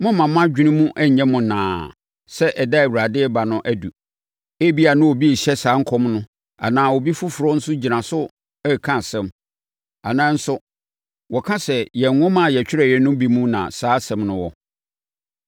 mommma mo adwene mu nnyɛ mo nnaa sɛ ɛda a Awurade reba no aduru. Ebia, na obi rehyɛ saa nkɔm no anaa obi foforɔ nso gyina so reka asɛm. Anaasɛ nso wɔka sɛ yɛn nwoma a yɛtwerɛeɛ no bi mu na saa asɛm no wɔ.